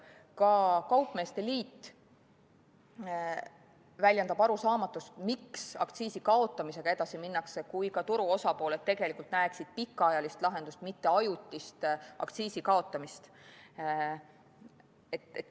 Ka kaupmeeste liit väljendab arusaamatust, miks aktsiisi kaotamisega edasi minnakse, kui ka turuosalised tegelikult näeksid pikaajalist lahendust, mitte ajutist aktsiisi kaotamist.